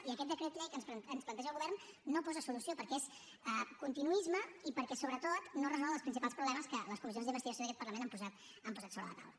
i aquest decret llei que ens planteja el govern no hi posa solució perquè és continuisme i perquè sobretot no resol els principals problemes que les comissions d’investigació d’aquest parlament han posat sobre la taula